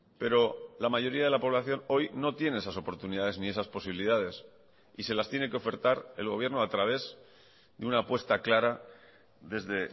pero la mayoría de la población hoy no tiene esas oportunidades ni esas posibilidades y se las tiene que ofertar el gobierno a través de una apuesta clara desde